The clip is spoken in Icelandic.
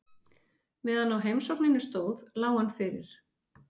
Meðan á heimsókninni stóð lá hann fyrir.